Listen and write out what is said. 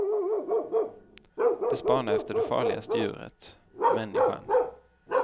De spanar efter det farligaste djuret, människan.